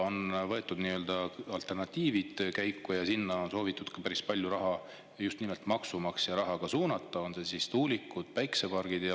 On võetud alternatiivid käiku ja sinna on soovitud ka päris palju raha, just nimelt maksumaksja raha suunata, on need siis tuulikud või päikesepargid.